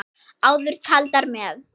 Áður taldar með